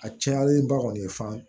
A cayalenba kɔni ye fana